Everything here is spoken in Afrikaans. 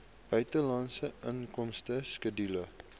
buitelandse inkomste skedule